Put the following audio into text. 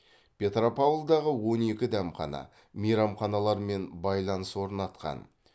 петропавлдағы он екі дәмхана мейрамханалармен байланыс орнатқан